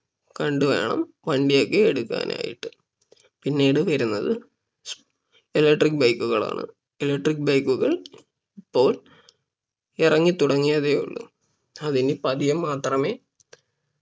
കണ്ട് വേണം വണ്ടി ഒക്കെ എടുക്കാനായിട്ട് പിന്നീട് വരുന്നത് Electric bike കളാണ് Electric bike കൾ ഇപ്പോൾ ഇറങ്ങി തുടങ്ങിയതേ ഉള്ളൂ അത് ഇനി പതിയെ മാത്രമേ